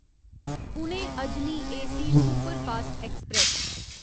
Pune Ajni AC superfast express